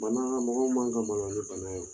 Mɔgɔw man ka maloya ni bana ye